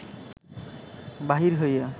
বাহির হইয়া